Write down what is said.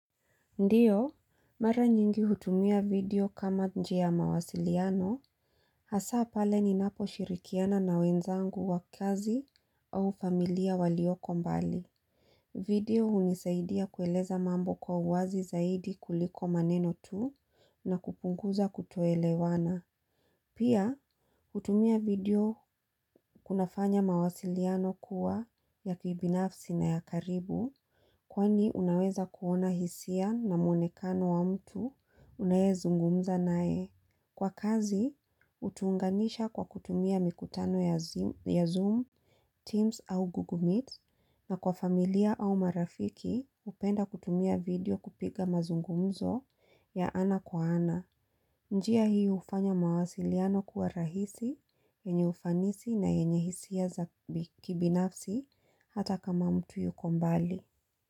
Ndiyo, mara nyingi hutumia video kama njia ya mawasiliano, hasa pale ninaposhirikiana na wenzangu wa kazi au familia walioko mbali. Video hunisaidia kueleza mambo kwa uwazi zaidi kuliko maneno tu na kupunguza kutoelewana. Pia, kutumia video kunafanya mawasiliano kuwa ya kibinafsi na ya karibu kwani unaweza kuona hisia na muonekano wa mtu unayezungumza naye. Kwa kazi, hutuunganisha kwa kutumia mikutano ya Zoom, Teams au Google Meet na kwa familia au marafiki hupenda kutumia video kupiga mazungumzo ya ana kwa ana. Njia hii hufanya mawasiliano kuwa rahisi, yenye ufanisi na yenye hisia za kibinafsi hata kama mtu yuko mbali.